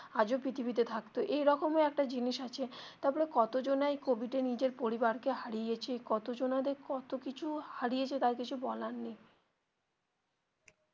আজও পৃথিবীতে থাকতো এরকম একটা জিনিস আছে তারপরে কত জানাই কোভিড এ নিজের পরিবার কে হারিয়েছে কত জনাদের দরে কত কিছু হারিয়েছে তা আর কিছু বলার নেই